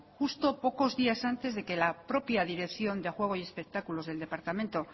justo pocos días antes de que la propia dirección de juego y espectáculos del departamento